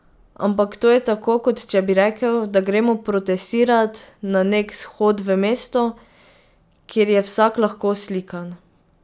Ampak to je tako kot če bi rekel, da gremo protestirat na nek shod v mesto, kjer je vsak lahko slikan.